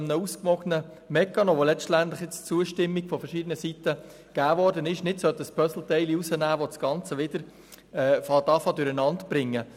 Aus einem ausgewogenen Mechanismus, der letztlich bei verschiedenen Seiten auf Zustimmung gestossen ist, sollte man kein Puzzleteil entfernen, denn das würde das Ganze wieder durcheinanderbringen.